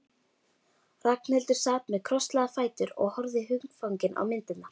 Ragnhildur sat með krosslagða fætur og horfði hugfangin á myndirnar.